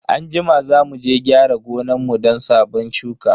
Anjima za muje gyara gonan mu don sabon shuka.